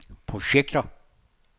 projekter